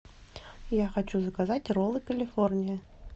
я хочу заказать роллы калифорния